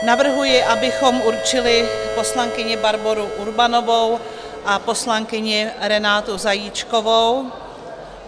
Navrhuji, abychom určili poslankyni Barboru Urbanovou a poslankyni Renátu Zajíčkovou.